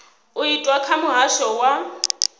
u itwa kha muhasho wa